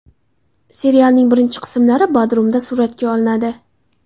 Serialning birinchi qismlari Bodrumda suratga olinadi.